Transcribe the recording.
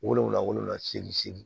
Wolonfila wolonfila segin